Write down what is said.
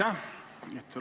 Aitäh!